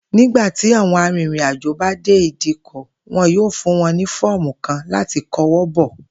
Nígbà tí àwo̩n arìnrìnàjò bá dé ìdíkò̩, wo̩n yóò fún wo̩n ní fó̩ò̩mu kan láti ko̩wó̩ bò̩